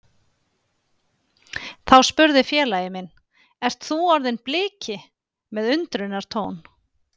Þá spurði félagi minn Ert þú orðinn Bliki? með undrunartón.